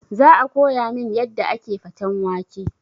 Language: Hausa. Za a koya min yadda ake faten wake